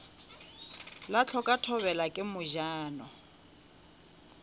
la hloka thobela ke mojano